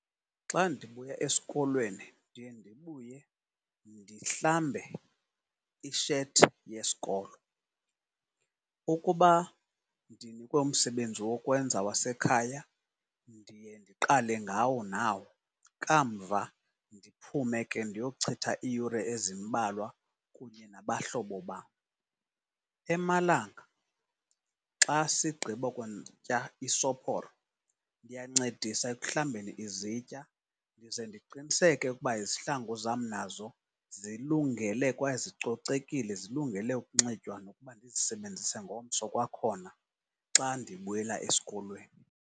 Xa ndibuya esikolweni ndiye ndibuye ndihlambe ishethi yesikolo. Ukuba ndinikwe umsebenzi wokwenza wasekhaya ndiye ndiqale ngawo nawo, kamva ndiphume ke ndiyochitha iiyure ezimbalwa kunye nabahlobo bam. Emalanga xa sigqiba kutya isophoro ndiyancedisa ekuhlambeni izitya ndize ndiqiniseke ukuba izihlangu zam nazo zilungele kwaye zicocekile zilungele ukunxitywa nokuba ndizisebenzise ngomso kwakhona xa ndibuyela eskolweni.